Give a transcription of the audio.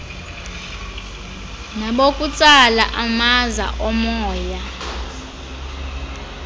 nabokutsala amaza omoya